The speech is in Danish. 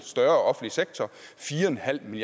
med